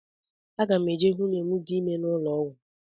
Aga m eje hụ nwunye m dị ime n'ụlọọgwụ.